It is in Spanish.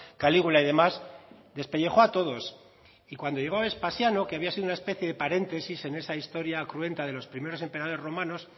calígula y demás despellejó a todos y cuando llegó a vespasiano que había sido una especie de paréntesis en esa historia cruenta de los primeros emperadores romanos